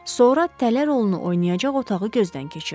Sonra tələ rolunu oynayacaq otağı gözdən keçirdi.